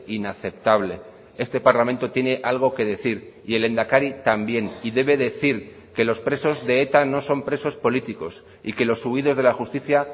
inaceptable este parlamento tiene algo que decir y el lehendakari también y debe decir que los presos de eta no son presos políticos y que los huidos de la justicia